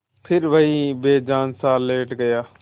फिर वहीं बेजानसा लेट गया